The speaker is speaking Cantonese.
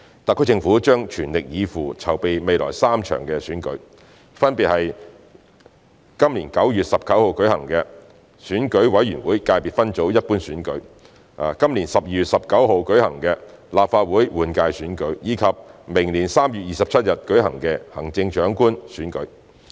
特區政府將全力以赴，籌備未來3場選舉，分別是將於今年9月19日舉行的選舉委員會界別分組一般選舉；今年12月19日舉行的立法會換屆選舉；以及明年3月27日舉行的行政長官選舉。